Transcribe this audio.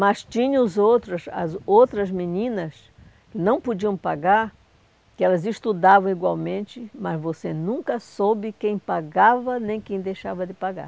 Mas tinha os outros as outras meninas que não podiam pagar, que elas estudavam igualmente, mas você nunca soube quem pagava nem quem deixava de pagar.